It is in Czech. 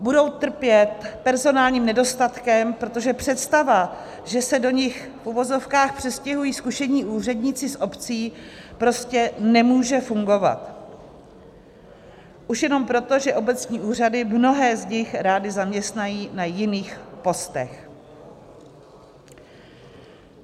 Budou trpět personálním nedostatkem, protože představa, že se do nich v uvozovkách přestěhují zkušení úředníci z obcí, prostě nemůže fungovat, už jenom proto, že obecní úřady mnohé z nich rády zaměstnají na jiných postech.